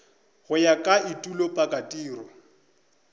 go ya ka etulo pakatiro